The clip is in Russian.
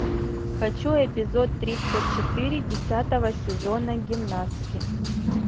хочу эпизод тридцать четыре десятого сезона гимнастки